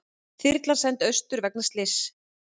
Þyrlan send austur vegna slyss